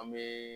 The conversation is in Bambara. An bɛ